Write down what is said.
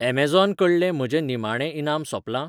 Amazon कडले म्हजें निमाणें इनाम सोंपलां?